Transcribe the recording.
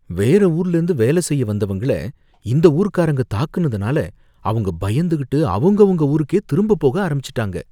வேற ஊர்லேந்து வேலை செய்ய வந்தவங்கள, இந்த ஊர்க்காரங்க தாக்குனதுனால அவங்க பயந்துகிட்டு அவங்கவங்க ஊருக்கே திரும்ப போக ஆரம்பிச்சிட்டாங்க.